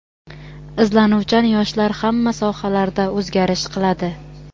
izlanuvchan yoshlar hamma sohalarda o‘zgarish qiladi.